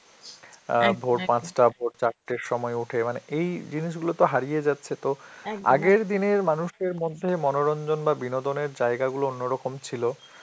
অ্যাঁ ভোর পাঁচটা, ভোর চারটের সময় উঠে, মানে এই জিনিসগুলো তো হারিয়ে যাচ্ছে তো আগের দিনের মানুষের মধ্যে মনোরঞ্জন বা বিনোদনের জায়গাগুলো অন্যরকম ছিল.